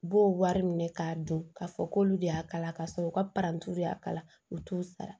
U b'o wari minɛ k'a dɔn k'a fɔ k'olu de y'a kala k'a sɔrɔ u ka y'a kala u t'u sara